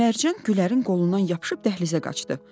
Mərcan Gülərin qolundan yapışıb dəhlizə qaçdı.